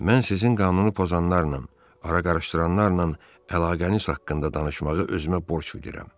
Mən sizin qanunu pozanlarla, ara qarışdıranlarla əlaqəniz haqqında danışmağı özümə borc bilirəm.